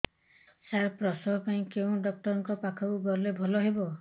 ସାର ପ୍ରସବ ପାଇଁ କେଉଁ ଡକ୍ଟର ଙ୍କ ପାଖକୁ ଗଲେ ଭଲ ହେବ